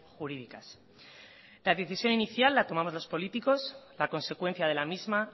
jurídicas la decisión inicial la tomamos los políticos la consecuencia de la misma